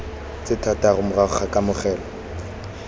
tse thataro morago ga kamogelo